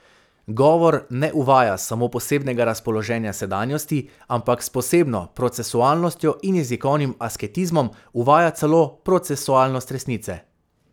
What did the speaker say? Govor ne uvaja samo posebnega razpoloženja sedanjosti, ampak s posebno procesualnostjo in jezikovnim asketizmom uvaja celo procesualnost resnice.